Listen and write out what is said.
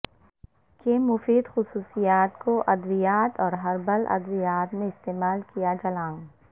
کے مفید خصوصیات کو ادویات اور ہربل ادویات میں استعمال کیا چھلانگ